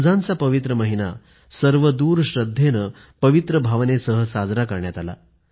रमजानचा पवित्र महिना सर्वदूर श्रद्धेनं पवित्र भावनेसह साजरा करण्यात आला